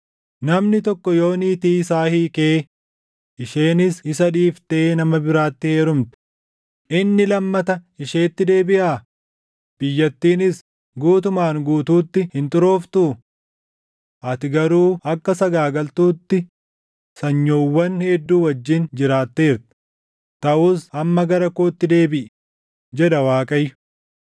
“Namni tokko yoo niitii isaa hiikee isheenis isa dhiiftee nama biraatti heerumte, inni lammata isheetti deebiʼaa? Biyyattiinis guutumaan guutuutti hin xurooftuu? Ati garuu akka sagaagaltuutti // sanyoowwan hedduu wajjin jiraatteerta; taʼus amma gara kootti deebiʼi?” jedha Waaqayyo.